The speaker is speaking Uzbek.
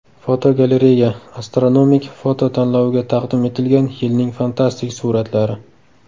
Fotogalereya: Astronomik foto tanloviga taqdim etilgan yilning fantastik suratlari.